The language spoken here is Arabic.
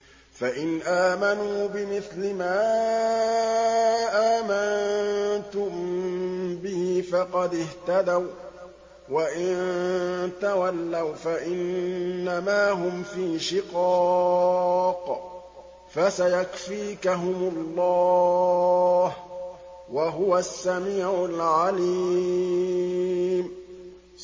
فَإِنْ آمَنُوا بِمِثْلِ مَا آمَنتُم بِهِ فَقَدِ اهْتَدَوا ۖ وَّإِن تَوَلَّوْا فَإِنَّمَا هُمْ فِي شِقَاقٍ ۖ فَسَيَكْفِيكَهُمُ اللَّهُ ۚ وَهُوَ السَّمِيعُ الْعَلِيمُ